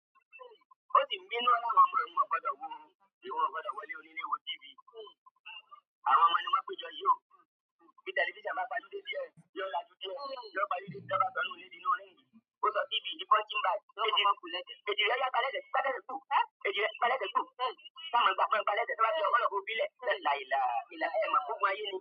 Ó si ń bínú o ni àwọn ọmọ ounò gbọ́dọ̀ worun, wọn kò gbọ́dọ̀ wọlé onílé wo TV. Àwọn ọmọ ni wọ́n péjọ yí o, bí tẹlifísàn bá pa júdé díẹ̀, yóò là laju, yóò pàju dé ní wọ́n bá sọnùlé di inú ring, ó sọ TV di punching bag lo ba n kù lẹ̀ṣẹ̀, èjìrẹ́ yá gbàẹ́ṣẹ́, gbàlẹ́ṣẹ́ gbù, èjìrẹ́ gbàlẹ́ṣẹ́ gbu, sa maa gbá gbàlẹ́ṣẹ́, to bá ti yọ kọlọ́ ko fí lẹ̀, ṣẹ́ làìlà, ìlà ẹ máa pe ogún ayé ni.